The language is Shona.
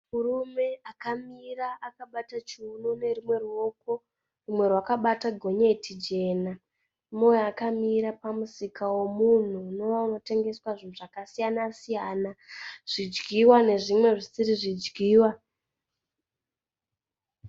Murume akamira akabata chiuno nerumwe rouko, rumwe rwakabata gonyeti jena. Umwe akamira pamusika womunhu unova unotengeswa zvinhu zvakasiyana-siyana, zvidyiwa nezvimwe zvisiri zvidyiwa.